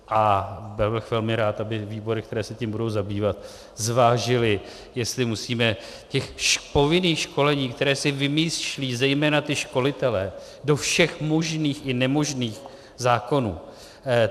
A byl bych velmi rád, aby výbory, které se tím budou zabývat, zvážily, jestli musíme těch povinných školení, které se vymýšlí zejména ti školitelé, do všech možných i nemožných zákonů...